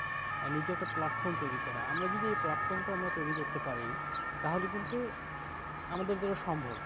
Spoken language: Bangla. আর নিজের একটা platform তৈরি করা, আমরা যদি এই platform টা আমরা তৈরি করতে পার, তাহলে কিন্তু, আমাদের দ্বারা সম্ভব